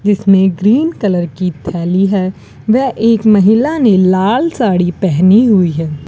जिसमें green colour की थैली है वह एक महिला ने लाल साड़ी पहनी है।